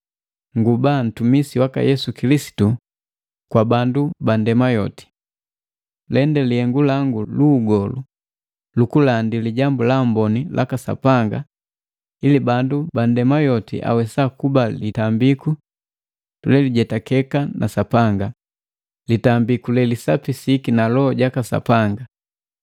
kuba ntumisi waka Yesu Kilisitu kwa bandu bandema yoti. Lende lihengu langu lu ugolu lukulandi Lijambu la Amboni laka Sapanga ili bandu bandema yoti awesa kuba litambiku lelijetake na Sapanga, litambiku le lisapisiki na Loho jaka Sapanga.